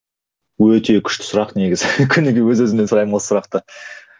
өте күшті сұрақ негізі күніге өз өзімнен сұраймын осы сұрақты